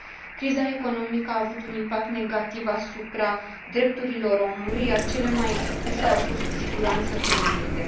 Criza economică a avut un impact negativ asupra drepturilor omului, iar cele mai expuse au fost cu siguranță femeile.